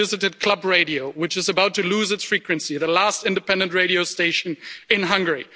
I visited Klub Radio, which is about to lose its frequency the last independent radio station in Hungary.